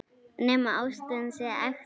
Nema ástin sé ekta skrípó.